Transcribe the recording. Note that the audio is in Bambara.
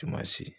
Sumasi